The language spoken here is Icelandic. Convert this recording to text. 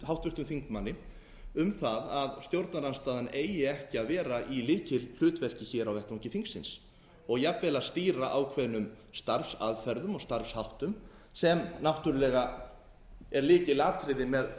háttvirtum þingmanni um það að stjórnarandstaðan eigi ekki að vera í lykilhlutverki á vettvangi þingsins og jafnvel að stýra ákveðnum starfsaðferðum og starfsháttum sem náttúrlega er lykilatriði með